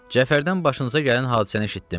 Cəfərdən başınıza gələn hadisəni eşitdim.